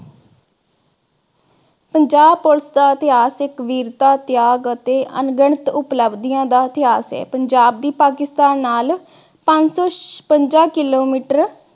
Punjab police ਦਾ ਇਤਹਾਸਿਕ ਵੀਰਤਾ, ਤਿਆਗ ਅਤੇ ਅਣਗਿਣਤ ਉਬਲਬਦਿਆਂ ਦਾ ਇਤਿਹਾਸ ਹੈ ਪੰਜਾਬ ਦੀ ਪਾਕਿਸਤਾਨ ਨਾਲ ਪੰਜ ਸੋ ਛਪੰਜਾ kilometer